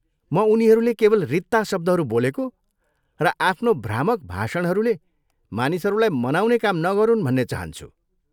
म उनीहरूले केवल रित्ता शब्दहरू बोलेको र आफ्नो भ्रामक भाषणहरूले मानिसहरूलाई मनाउने काम नगरुन् भन्ने चाहन्छु।